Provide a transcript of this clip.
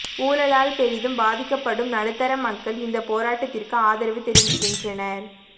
ஊழலால் பெரிதும் பாதிக்கப்படும் நடுத்தர மக்கள் இந்த போராட்டத்திற்கு ஆதரவு தெரிவிக்கின்றனர்